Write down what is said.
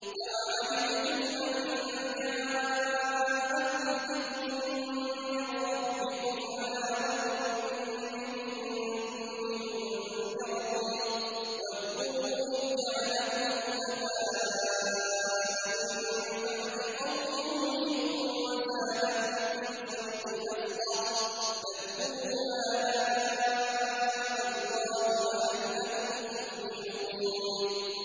أَوَعَجِبْتُمْ أَن جَاءَكُمْ ذِكْرٌ مِّن رَّبِّكُمْ عَلَىٰ رَجُلٍ مِّنكُمْ لِيُنذِرَكُمْ ۚ وَاذْكُرُوا إِذْ جَعَلَكُمْ خُلَفَاءَ مِن بَعْدِ قَوْمِ نُوحٍ وَزَادَكُمْ فِي الْخَلْقِ بَسْطَةً ۖ فَاذْكُرُوا آلَاءَ اللَّهِ لَعَلَّكُمْ تُفْلِحُونَ